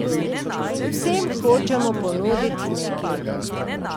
Vsem hočemo ponuditi nekaj.